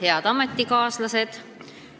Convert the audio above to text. Head ametikaaslased!